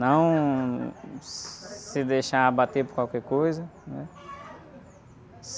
Não se deixar bater por qualquer coisa, né?